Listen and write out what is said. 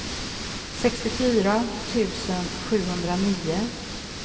sextiofyra tusen sjuhundranio